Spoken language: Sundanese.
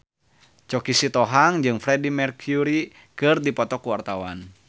Choky Sitohang jeung Freedie Mercury keur dipoto ku wartawan